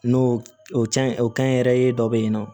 N'o o can o kɛnyɛrɛye dɔ bɛ yen nɔ